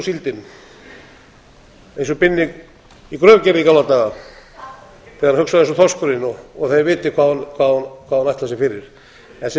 síldin eins og binni í gröf gerði í gamla daga þegar hann hugsaði eins og þorskurinn og þið vitið hvað hún ætlar sér fyrir en sem